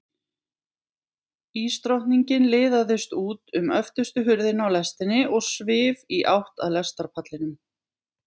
Ísdrottningin liðaðist út um öftustu hurðina á lestinni og svif í átt að lestarpallinum.